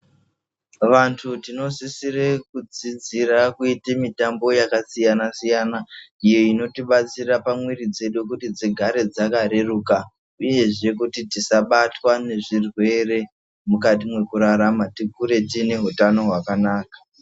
Vantu tinosisire kudzidzire kuite mutambo yakasiyana siyana iyo inotibatsira pamwiri dzedu kuti dzigare dzakareruka uyeZve kuti dzisavatwa ngezvirwere mukati mwekurarama tikure tiine utani hwakanaka.